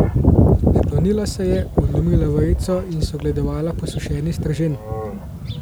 Sklonila se je, odlomila vejico in si ogledovala posušeni stržen.